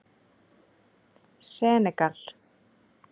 Senegal